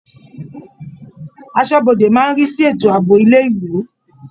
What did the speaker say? Aṣọ́bodè máa ń rí sí ètò àbò ilé-ìwé.